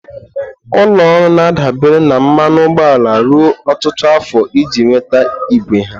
Ụlọ ọrụ na-adabere na mmanụ ụgbọala ruo ọtụtụ afọ iji nweta igwe ha.